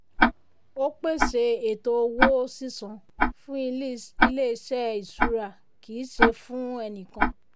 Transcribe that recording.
ó pèsè ètò owó sísan fún ilé iṣẹ́ ìṣúra kì í ṣe fún ẹni kàn.